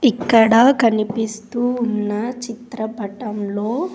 ఇక్కడ కనిపిస్తూ ఉన్న చిత్రపటంలో.